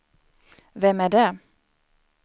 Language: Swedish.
vem är det